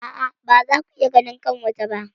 A'a, ba za ku iya ganin kanwata ba.